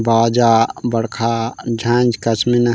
बाजा बड़खा झानझ कस्मे ना--